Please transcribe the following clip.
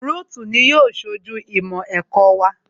Rúùtù ni yóò ṣojú ìmọ̀ ẹ̀kọ́ wa